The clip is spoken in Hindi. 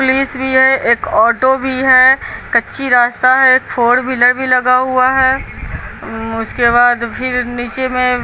पुलिस भी है एक ऑटो भी है कच्ची रास्ता है एक फोर व्हीलर भी लगा हुआ है उसके बाद फिर नीचे में--